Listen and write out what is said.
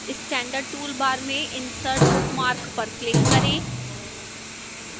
standard toolbar में insert bookmark पर click करें